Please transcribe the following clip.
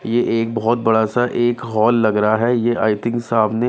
ये एक बहुत बड़ा सा एक हॉल लग रहा है ये आई थिंक सामने--